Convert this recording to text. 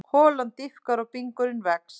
Holan dýpkar og bingurinn vex.